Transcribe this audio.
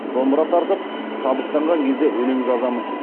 домбыра тартып шабыттанған кезде өлең жазамын